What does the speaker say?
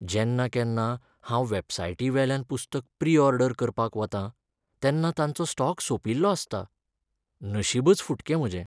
जेन्ना केन्ना हांव वॅबसायटी वेल्यान पुस्तक प्री ऑर्डर करपाक वतां तेन्ना तांचो स्टॉक सोंपिल्लो आसता. नशीबच फुटकें म्हजें.